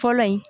Fɔlɔ in